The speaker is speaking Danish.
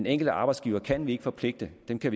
enkelte arbejdsgivere kan vi ikke forpligte vi kan